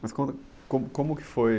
Mas conta, como, como que foi?